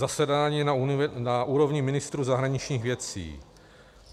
Zasedání na úrovni ministrů zahraničních věcí.